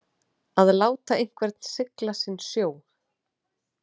Að láta einhvern sigla sinn sjó